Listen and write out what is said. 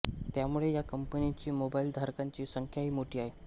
त्यामुळे या कंपनींची मोबाईल धारकांची संख्याही मोठी आहे